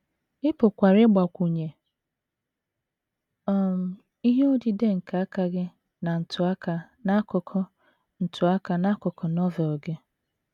Ị pụkwara ịgbakwụnye um ihe odide nke aka gị na ntụaka n’akụkụ ntụaka n’akụkụ Novel gị.